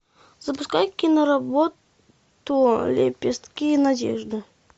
запускай киноработу лепестки надежды